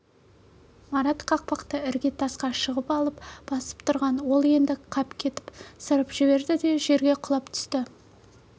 марат кақпақты іргетасқа шығып алып басып тұрған ол енді қапелімде ашылып кетіп сырып жіберді де жерге құлап түсті